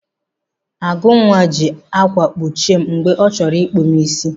Agụnwa ji ákwà kpuchie m mgbe ọ chọrọ ịkpụ m isi.